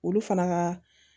Olu fana ka